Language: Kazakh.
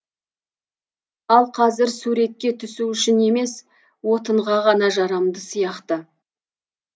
ал қазір суретке түсу үшін емес отынға ғана жарамды сияқты